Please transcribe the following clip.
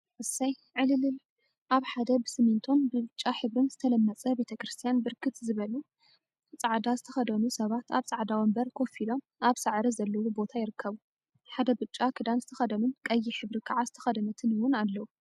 እስይ! ዕልል… አብ ሓደ ብስሚንቶን ብብጫ ሕብሪን ዝተለመፀ ቤተ ክርስትያን ብርክት ዝበሉ ፃዕደዓ ዝትከደኑ ሰባት አብ ፃዕዳ ወንበር ኮፍ ኢሎም አብ ሳዕሪ ዘለዎ ቦታ ይርከቡ፡፡ ሓደ ብጫ ክዳን ዝተከደኑን ቀይሕ ሕብሪ ከዓ ዝተከደነትን እውን አለው፡፡